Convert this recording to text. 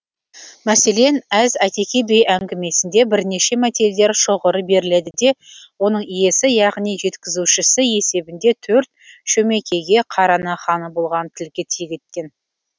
мәселен әз әйтеке би әңгімесінде бірнеше мәтелдер шоғыры беріледі де оның иесі яғни жеткізушісі есебінде төрт шөмекейге қараның ханы болғанын тілге тиек еткен